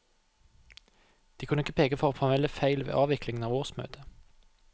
De kunne ikke peke på formelle feil ved avviklingen av årsmøtet.